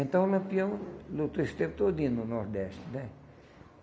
Então, o Lampião lutou esse tempo todinho no Nordeste, né?